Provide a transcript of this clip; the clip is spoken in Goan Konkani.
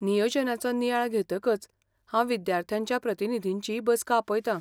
नियोजनाचो नियाळ घेतकच हांव विद्यार्थ्यांच्या प्रतिनिधींची बसका आपयतां.